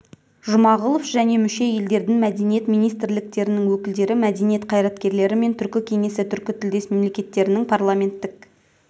жұмағұлов және мүше елдердің мәдениет министрліктерінің өкілдері мәдениет қайраткерлері мен түркі кеңесі түркітілдес мемлекеттерінің парламенттік